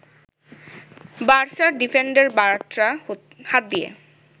বার্সার defender Bartra হাত দিয়ে